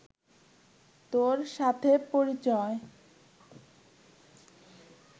তোর সাথে পরিচয়